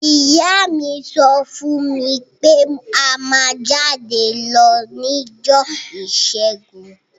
Ìyá mi so fún mí pe a má jáde lo nijọ́ ìsẹ́gun